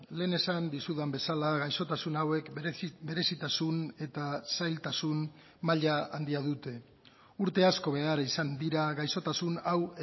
lehen esan dizudan bezala gaixotasun hauek berezitasun eta zailtasun maila handia dute urte asko behar izan dira gaixotasun hau